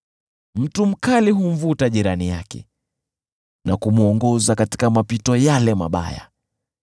Mtu mkali humvuta jirani yake na kumwongoza katika mapito yale mabaya.